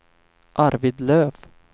Arvid Löf